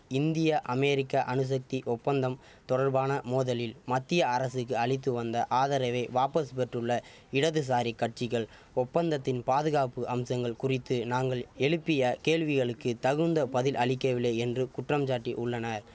இந்திய அமெரிக்க அணுசக்தி ஒப்பந்தம் தொடர்பான மோதலில் மத்திய அரசுக்கு அளித்து வந்த ஆதரவை வாபஸ் பெற்றுள்ள இடதுசாரி கட்சிகள் ஒப்பந்தத்தின் பாதுகாப்பு அம்சங்கள் குறித்து நாங்கள் எழுப்பிய கேள்விகளுக்கு தகுந்த பதில் அளிக்கவில்லை என்று குற்றம்சாட்டி உள்ளன